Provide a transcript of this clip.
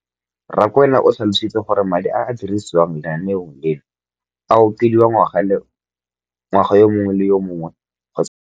Rakwena o tlhalositse gore madi a a dirisediwang lenaane leno a okediwa ngwaga yo mongwe le yo mongwe go tsamaelana le.